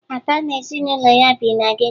Ada na ezinụlọ ya bi na geto